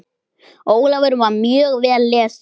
Ólafur var mjög vel lesinn.